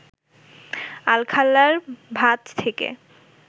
আলখাল্লার ভাঁজ থেকে